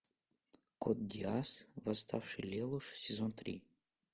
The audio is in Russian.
код гиасс восставший лелуш сезон три